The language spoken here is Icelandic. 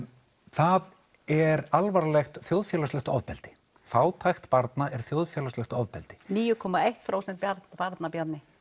það er alvarlegt þjóðfélagslegt ofbeldi fátækt barna er þjóðfélagslegt ofbeldi níu komma eitt prósent barna Bjarni